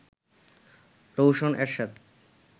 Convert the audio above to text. Rowshan Ershad